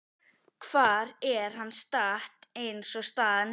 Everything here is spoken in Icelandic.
Hvar er það statt eins og staðan er núna?